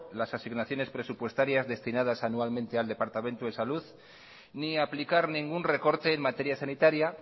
las asignaciones presupuestarias destinadas anualmente al departamento de salud ni aplicar ningún recorte en materia sanitaria